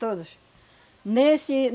Todos. Nesse